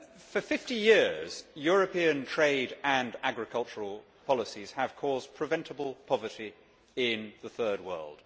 For fifty years, European trade and agricultural polices have caused preventable poverty in the Third World.